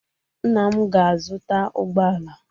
Nna m ga-azuta ụgbọala